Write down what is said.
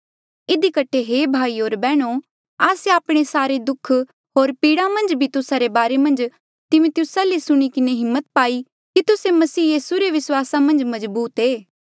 इधी कठे हे भाईयो होर बैहणो आस्से आपणे सारे दुःख होर पीड़ा मन्झ भी तुस्सा रे बारे मन्झ तिमिथियुस ले सुणी किन्हें हिम्मत पाई कि तुस्से यीसू मसीह रे विस्वासा मन्झ मजबूत ऐें